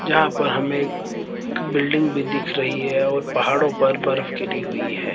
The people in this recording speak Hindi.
जहां पर हमे एक बिल्डिंग भी दिख रही हैं और पहाड़ों पर बर्फ गिरी हुई है।